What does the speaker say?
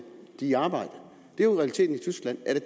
i arbejde det er jo realiteten i tyskland er